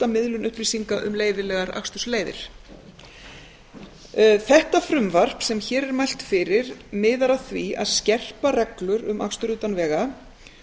miðlun upplýsinga um leyfilegar akstursleiðir það frumvarp sem hér er mælt fyrir miðar að því að skerpa reglur um akstur utan vega